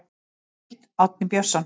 Heimild: Árni Björnsson.